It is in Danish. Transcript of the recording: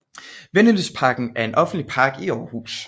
Vennelystparken er en offentlig park i Aarhus